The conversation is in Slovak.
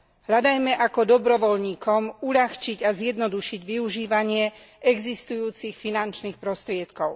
Hľadajme, ako dobrovoľníkom uľahčiť a zjednodušiť využívanie existujúcich finančných prostriedkov.